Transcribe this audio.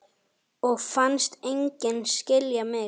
Og fannst enginn skilja mig.